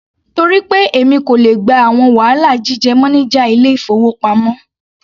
Torí pé èmi kò le gba àwọn wàhálà jíjẹ́ mánájà ilé-ìfowópamọ́.